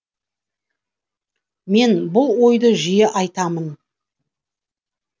мен бұл ойды жиі айтамын